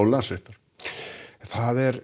Landsréttar það er